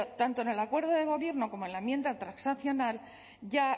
tanto en el acuerdo de gobierno como en la enmienda transaccional ya